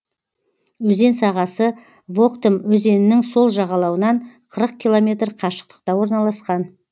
өзен сағасы воктым өзенінің сол жағалауынан қырық километр қашықтықта орналасқан